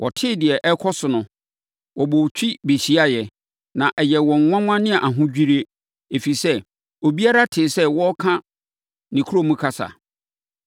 Wɔtee deɛ ɛrekɔ so no, wɔbɔɔ twi bɛhyiaeɛ, na ɛyɛɛ wɔn nwanwa ne ahodwirie, ɛfiri sɛ, obiara tee sɛ wɔreka ne kurom kasa.